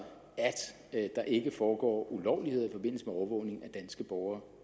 at der ikke foregår ulovligheder i forbindelse med overvågning af danske borgere